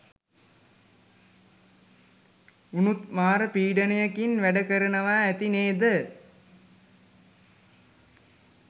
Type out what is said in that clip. උනුත් මාර පීඩනයකින් වැඩ කරනවා ඇති නේද